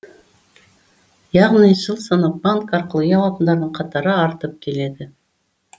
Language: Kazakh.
яғни жыл санап банк арқылы үй алатындардың қатары артып келеді